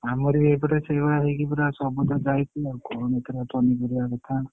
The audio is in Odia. ଆମର ବି ଏଇପଟେ ସେଇଭଳିଆ ହେଇକି ସବୁ ତ ଯାଇଛି କହନି ପୁରା ପନିପରିବା କଥା।